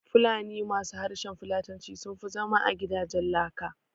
Fulani ma su harshen Fulatanci sunfi zama a gidajen laka